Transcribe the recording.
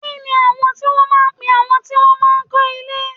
Kini wọn máa ń pe àwọn tí wọn máa ń kọ́ ilé?